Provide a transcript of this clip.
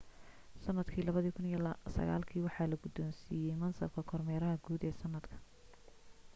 sanadka 2009 waxaa la gudoonsiiyay mansabka kormeeraha guud ee sanadka